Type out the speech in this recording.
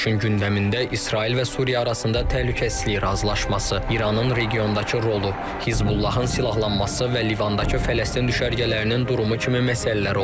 Görüşün gündəmində İsrail və Suriya arasında təhlükəsizlik razılaşması, İranın regiondakı rolu, Hizbullahın silahlanması və Livandakı Fələstin düşərgələrinin durumu kimi məsələlər olub.